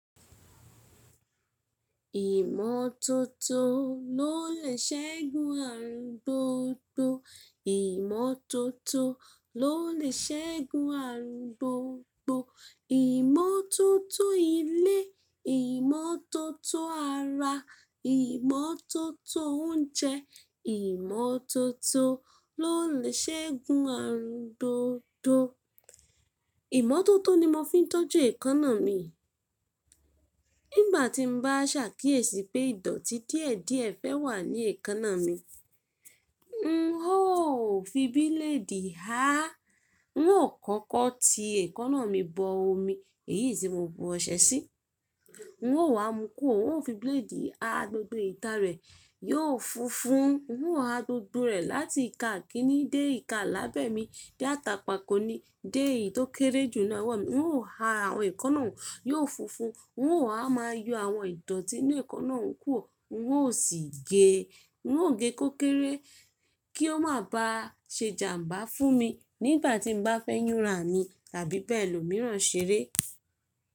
Ìmọ́tótó ló lè ṣẹ́gun àrùn gbogbo. Ìmọ́tótó ló lè ṣẹ́gun àrùn gbogbo. Ìmọ́tótó ilé, ìmọ́tótó ara, ìmọ́tótó oúnjẹ, ìmọ́tótó ló lè ṣẹ́gun àrùn gbogbo. Ìmọ́tótó ni mo fi ń tọ́jú èékánná mi. Nígbà tí mo bá sàkíyèsí pé ìdọ̀tí díẹ̀díẹ̀ fẹ́ wà ní èékánná mi, n ó fi bíléèdì há. N ó kókó ti èékánná mi bọ omi, èyí tí mo bu ọṣẹ sí. N ó wá mú kúrò, n o fi bíléèdì há gbogbo ìta rẹ̀, yóò funfun. N ó há gbogbo rẹ̀ láti ìka kíní dé ìka lábẹ́ mi, dé àtàpà kó ni, dé èyí tó kéré jù ní àwọ̀ mi. N ó há àwọn èékánná, yóò funfun. N ó máa yọ àwọn ìdọ̀tí inú èékánná nkúrò. N ó sì gé, n ó gé kó kéré kí ó má ba se jàmbá fún mi nígbà tí n bá fẹ́ yúnra mi tàbí bẹ́ẹ̀ lò míràn ṣeré.